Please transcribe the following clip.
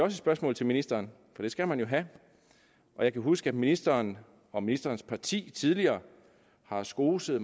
et spørgsmål til ministeren for det skal man jo have jeg kan huske at ministeren og ministerens parti tidligere har skoset